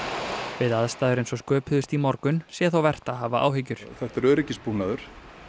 við aðstæður eins og sköpuðust í morgun sé þó vert að hafa áhyggjur þetta er öryggisbúnaður